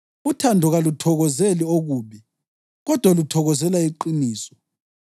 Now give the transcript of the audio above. Uthando kaluthokozeli okubi, kodwa luthokozela iqiniso.